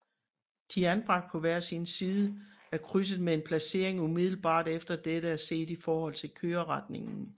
De er anbragt på hver sin side af krydset med en placering umiddelbart efter dette set i forhold til køreretningen